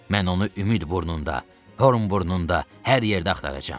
Mən onu Ümid burnunda, Horn burnunda, hər yerdə axtaracam.